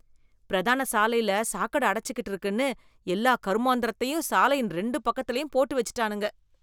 பிரதான சாலைல சாக்கட அடச்சிகிட்டு இருக்குன்னு, எல்லா கருமாந்திரத்தையும் சாலையின் ரெண்டு பக்கத்துலயும் போட்டுவெச்சிட்டானுங்க.